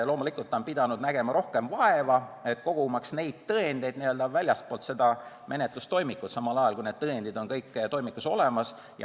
Loomulikult on ta pidanud nägema rohkem vaeva, et koguda tõendeid väljastpoolt menetlustoimikut, samal ajal kui need on kõik toimikus olemas.